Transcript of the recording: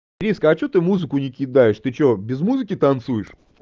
риска а что ты музыку не кидаешь ты что без музыки танцуешь